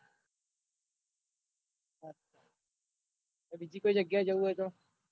બીજી કોઈ જગ્યાય જાઉં હોય તો